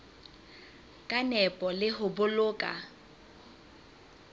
ka nepo le ho boloka